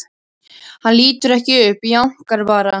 Hann lítur ekki upp, jánkar bara.